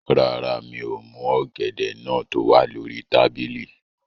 Rárá, mi ò mú ọ̀gẹ̀dẹ̀ náà tó wà lórí tábìlì